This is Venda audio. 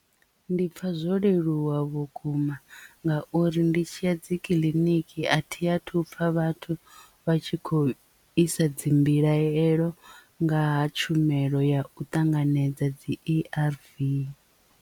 Ndi pfha zwo leluwa vhukuma ngauri ndi tshiya dzi kiḽiniki a thi athu upfa vhathu vha tshi khou isa dzi mbilaelo nga ha tshumelo ya u ṱanganedza dzi A_R_V.